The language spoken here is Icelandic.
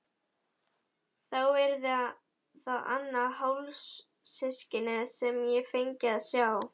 Þá yrði það annað hálfsystkinið sem ég fengi að sjá.